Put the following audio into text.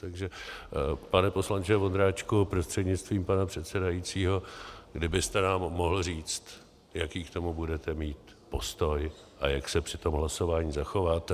Takže pane poslanče Vondráčku prostřednictvím pana předsedajícího, kdybyste nám mohl říct, jaký k tomu budete mít postoj a jak se při tom hlasování zachováte.